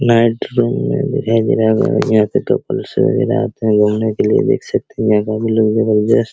night room में दिखाई दे रहा होगा यहां पे यहां काफी लोग जबरदस्त --